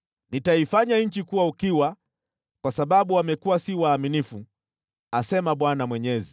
Nitaifanya nchi kuwa ukiwa kwa sababu wamekuwa si waaminifu, asema Bwana Mwenyezi.”